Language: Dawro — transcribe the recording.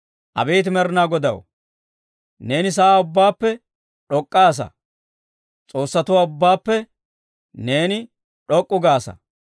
Abeet Med'inaa Godaw, neeni sa'aa ubbaappe d'ok'k'aasa; s'oossatuwaa ubbaappe neeni d'ok'k'u gaasa.